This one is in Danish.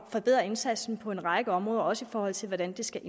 forbedre indsatsen på en række områder også i forhold til hvordan det skal